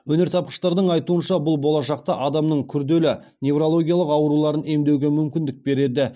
өнертапқыштардың айтуынша бұл болашақта адамның күрделі неврологиялық ауруларын емдеуге мүмкіндік береді